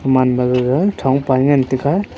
man magaga thong pae ngan taiga.